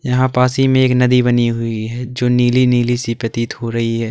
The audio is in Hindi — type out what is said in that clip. यहां पास ही में एक नदी बनी हुई है जो नीली नीली सी प्रतीत हो रही है।